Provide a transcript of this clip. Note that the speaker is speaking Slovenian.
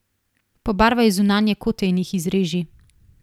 Pobarvaj zunanje kote in jih izreži.